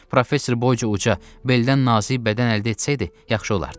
Professor boyca uca, beldən nazik bədən əldə etsəydi, yaxşı olardı.